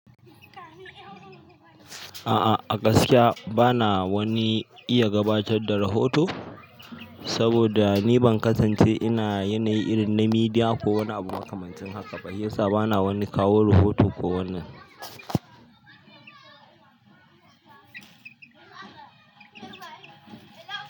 A'a a gaskiya bana wani iya gabatar da rahoto, saboda ni ban kasance ina yanayi irin na media ko wani abu makamancin haka ba. Shiyasa bana wani kawo rahoto ko wannan.